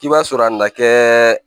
K'i b'a sɔrɔ a ma kɛ